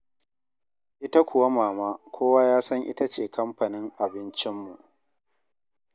Ita kuwa Mama, kowa ya san ita ce kamfanin abincinmu.